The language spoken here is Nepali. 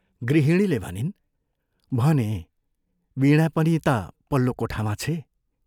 गृहिणीले भनिन्, " भनें, वीणा पनि ता पल्लो कोठामा छे।